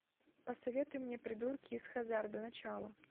посоветуй мне придурки из хаззарда начало